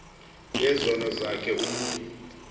yezono zakhe umntu